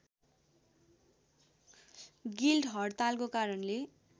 guild हडतालको कारणले